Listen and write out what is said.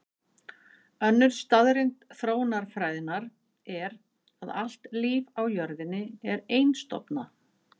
Önnur staðreynd þróunarfræðinnar er að allt líf á jörðinni er einstofna.